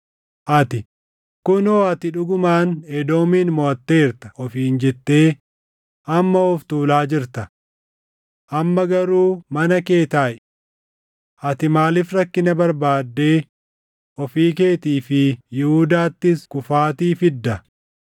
Ati, ‘Kunoo ati dhugumaan Edoomin moʼatteerta’ ofiin jettee amma of tuulaa jirta. Amma garuu mana kee taaʼi! Ati maaliif rakkina barbaaddee ofii keetii fi Yihuudaattis kufaatii fidda?”